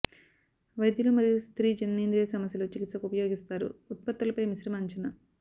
వైద్యులు మరియు స్త్రీ జననేంద్రియ సమస్యలు చికిత్సకు ఉపయోగిస్తారు ఉత్పత్తుల పై మిశ్రమ అంచనా